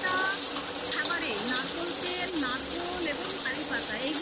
ওনারা প্রত্যেকটা খাবারে নারকোল নারকোল তেল এবং কারিপাতা এইগুলো